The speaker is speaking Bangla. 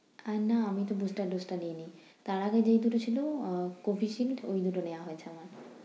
আহ না আমি তো booster dose টা নেইনি। তার আগে যেই দুটা ছিলো আহ Covishield ওই দুটো নেয়া হয়েছে আমার।